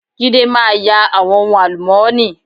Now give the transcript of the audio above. Jídé máa ya àwọn ohun àlùmọ́ọ́nì.